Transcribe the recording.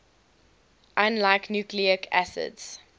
unlike nucleic acids